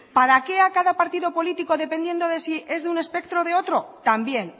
para qué a cada partido político dependiendo de si es de un espectro o de otro también